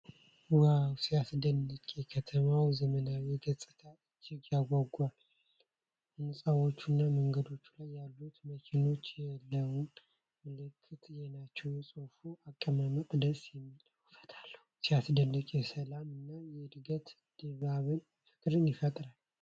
ዋው ሲያስደንቅ! የከተማዋ ዘመናዊ ገጽታ እጅግ ያጓጓል። ህንፃዎቹ እና መንገድ ላይ ያሉት መኪኖች የለውጥ ምልክት ናቸው። የፅሁፉ አቀማመጥ ደስ የሚል ውበት አለው። ሲያስደንቅ! የሰላም እና የእድገት ድባብ ፍቅርን ይፈጥራል።